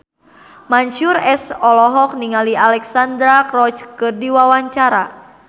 Mansyur S olohok ningali Alexandra Roach keur diwawancara